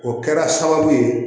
O kɛra sababu ye